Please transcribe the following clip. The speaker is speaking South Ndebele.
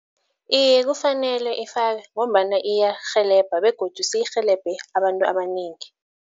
Iye kufanelwe ifakwe ngombana iyarhelebha begodu seyirhelebhe abantu abanengi.